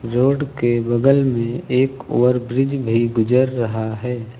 Road के बगल में एक ओवर ब्रिज भी गुजर रहा है।